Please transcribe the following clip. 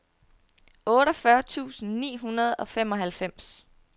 otteogfyrre tusind ni hundrede og femoghalvfems